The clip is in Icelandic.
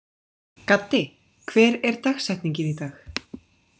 Gaddi, hver er dagsetningin í dag?